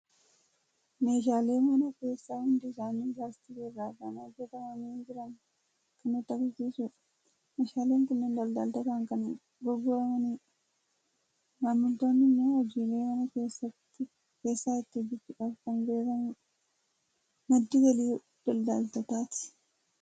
Meeshaalee mana keessaa hundi isaanii laastikii irraa kan hojjetamanii jiran kan nutti argisiisudha. Meeshaaleen kunneen daldaltootaan kan gurguramudha. Maamiltoonni immoo hojiilee mana keessaa ittiin hojjetachuuf kan bitatanidha. Madda galii daldaltootaati.